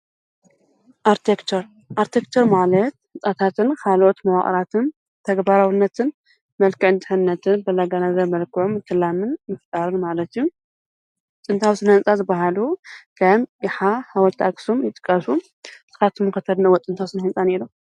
ኣርቴክቸር ፡-ኣቴክቸር ማለት ህፃታትን ኻልኦት መዋቕራትን ተግባራውነትን መልከዕ እንተነትን በለጋነዘር መልክዖም እተላምን ምፍጣርን ማለት እዩ ጥንታዊ ስነህንጻ ዝበሃሉ ከም የሓ፣ ሓወለቲ ኣኽሱም ይጥቀሱ፡፡ ንስኻትኩም ኸ ተድንቕዎ ጥንታዊ ስነ ህንፃ እኒሆ ዶ?